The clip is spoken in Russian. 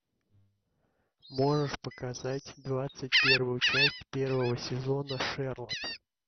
можешь показать двадцать первую часть первого сезона шерлок